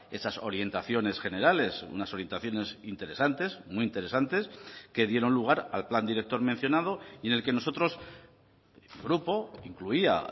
esas orientaciones generales unas orientaciones interesantes muy interesantes que dieron lugar al plan director mencionado y en el que nosotros grupo incluía